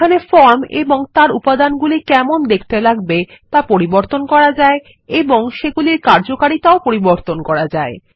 এখানে ফর্ম এবং তার উপাদানগুলি কেমন দেখতে লাগবে তা পরিবর্তন করা যায় এবং সেগুলির কার্যকারিতাও পরিবর্তন করা যায়